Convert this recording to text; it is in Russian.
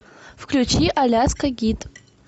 включи аляска гид